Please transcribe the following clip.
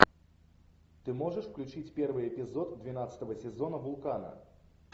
ты можешь включить первый эпизод двенадцатого сезона вулкана